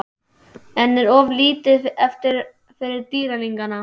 En er of lítið eftir fyrir Dýrlingana?